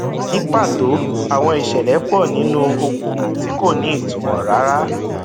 ní pàtó àwọn ìṣẹlẹ pọ nínú okòòwò tí kò ní ìtumọ rárá